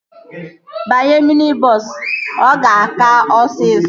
Banye mini bọọsu. Ọ ga-aka osisọ